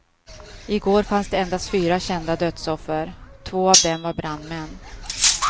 I går fanns det endast fyra kända dödsoffer, två av dem var brandmän.